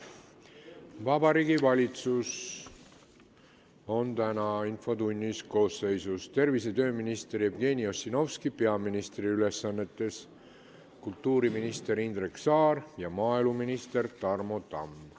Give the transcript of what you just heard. Vabariigi Valitsus on täna infotunnis järgmises koosseisus: tervise- ja tööminister Jevgeni Ossinovski peaministri ülesannetes, kultuuriminister Indrek Saar ja maaeluminister Tarmo Tamm.